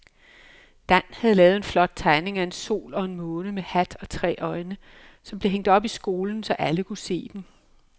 Dan havde lavet en flot tegning af en sol og en måne med hat og tre øjne, som blev hængt op i skolen, så alle kunne se den.